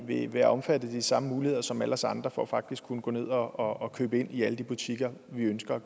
vil være omfattet af de samme muligheder som alle os andre for faktisk at kunne gå ned og købe ind i alle de butikker vi ønsker